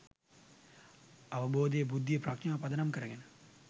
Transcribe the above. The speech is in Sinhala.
අවබෝධය, බුද්ධිය, ප්‍රඥාව පදනම් කරගෙන